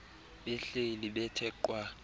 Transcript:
behleli bethe qwa